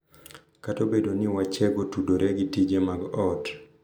Kata obedo ni wechego tudore gi tije mag ot, .